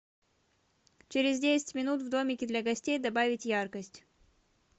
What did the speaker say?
через десять минут в домике для гостей добавить яркость